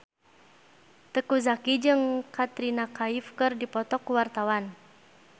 Teuku Zacky jeung Katrina Kaif keur dipoto ku wartawan